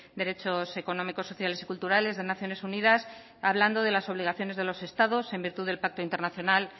derechos económicos sociales y culturales de naciones unidas hablando de las obligaciones de los estados en virtud del pacto internacional